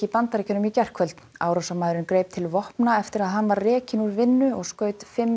Bandaríkjunum í gærkvöld árásarmaðurinn greip til vopna eftir að hann var rekinn úr vinnu og skaut fimm